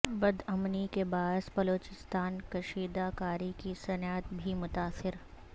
بد امنی کے باعث بلوچستان میں کشیدہ کاری کی صنعت بھی متاثر